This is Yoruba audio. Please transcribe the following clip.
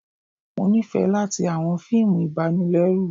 Mo nifẹ latí awọn fiimú ibànilẹrù